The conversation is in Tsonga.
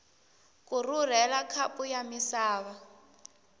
ku rhurhela khapu ya misava